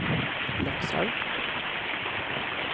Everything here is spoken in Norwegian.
Lakselv